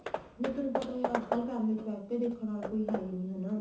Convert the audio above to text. ਨਹੀਂ ਤੁਹਾਨੂੰ ਪਤਾ ਈ ਏ ਅੱਜਕਲ family ਚ ਬੈ ਕੇ ਦੇਖਣ ਵਾਲਾ ਕੋਈ ਹੈ ਈ ਨਹੀਂ ਹਨਾ